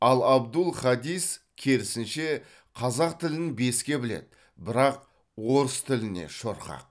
ал абдул хадис керісінше қазақ тілін беске біледі бірақ орыс тіліне шорқақ